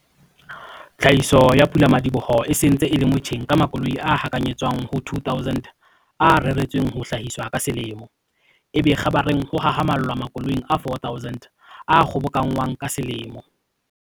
Tlhahiso ya pula-madiboho e se ntse e le motjheng ka makoloi a hakanyetswang ho 2 000 a reretsweng ho hlahiswa ka selemo, ebe kgabareng ho hahamallwa makoloing a 4 000 a kgobokanngwang ka selemo.